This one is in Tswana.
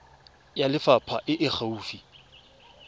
ya lefapha e e gaufi